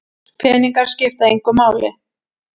Peningar skipta engu máli